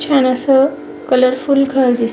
छान आस कलर फूल घर दिस --